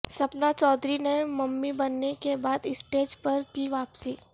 سپنا چودھری نے ممی بننے کے بعد اسٹیج پر کی واپسی